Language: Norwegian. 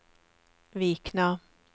Vikna